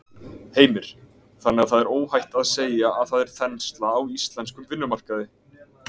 Heimir: Þannig að það er óhætt að segja að það er þensla á íslenskum vinnumarkaði?